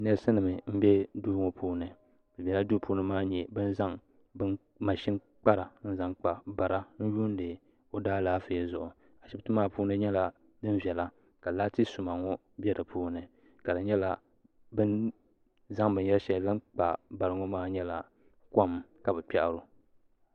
neesi nim n bɛ duu ŋɔ puuni lala duu puuni maa a ni nyɛ bin zaŋ mashin kpara n yuundi o daa laafee zuɣu ashibiti maa puuni nyɛla din viɛla ka laati suma ŋɔ bɛ di puuni ka di nyɛla bin zaŋ binyɛri shɛli zaŋ kpa bari ŋɔ maa nyɛla kom ka bi kpiaro